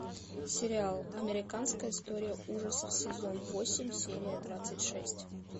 сериал американская история ужасов сезон восемь серия двадцать шесть